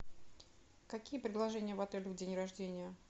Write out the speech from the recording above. какие предложения в отеле в день рождения